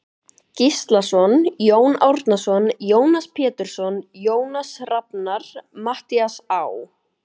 Gíslason, Jón Árnason, Jónas Pétursson, Jónas Rafnar, Matthías Á.